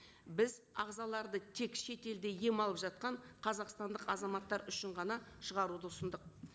біз ағзаларды тек шетелде ем алып жатқан қазақстандық азаматтар үшін ғана шығаруды ұсындық